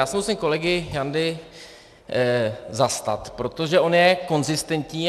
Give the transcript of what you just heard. Já se musím kolegy Jandy zastat, protože on je konzistentní.